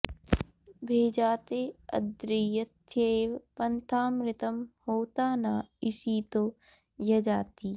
भे॒जाते॒ अद्री॑ र॒थ्ये॑व॒ पन्था॑मृ॒तं होता॑ न इषि॒तो य॑जाति